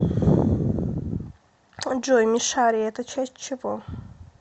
джой мишари это часть чего